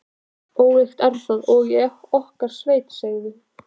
Ólíkt er það og í okkar sveit segðu.